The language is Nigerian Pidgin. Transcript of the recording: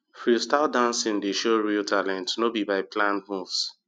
freestyle dancing dey show real talent no be by planned moves